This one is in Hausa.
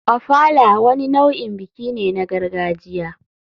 Ofala wani nau'in biki ne na gargajiya.